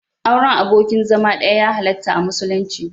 Auren abokin zama ɗaya ya halarta a musulunci.